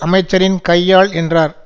அமைச்சரின் கையாள் என்றார்